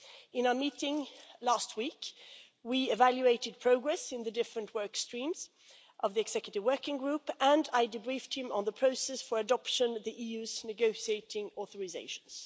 At our meeting last week, we evaluated progress in the work streams of the executive working group and I debriefed him on the process for adoption of the EU's negotiating authorisations.